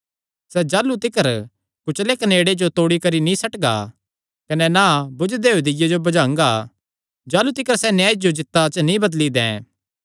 सैह़ ताह़लू तिकर कुचले कनेड़े जो तोड़ी करी नीं सट्टगा कने ना बुझदे होये दीय्ये जो बुझांगा जाह़लू तिकर सैह़ न्याय जो जीत्ता च ना बदली दैं